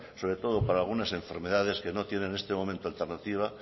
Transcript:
sobre todo para algunas enfermedades que no tienen en este momento alternativa